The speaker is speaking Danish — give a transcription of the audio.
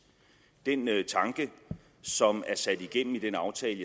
den tanke som er sat igennem i den aftale